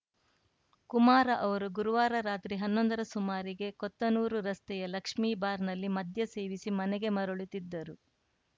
ಕುಮಾರ್‌ ಅವರು ಗುರುವಾರ ರಾತ್ರಿ ಹನ್ನೊಂದರ ಸುಮಾರಿಗೆ ಕೊತ್ತನೂರು ರಸ್ತೆಯ ಲಕ್ಷ್ಮಿ ಬಾರ್‌ನಲ್ಲಿ ಮದ್ಯ ಸೇವಿಸಿ ಮನೆಗೆ ಮರಳುತ್ತಿದ್ದರು